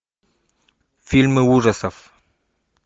фильмы ужасов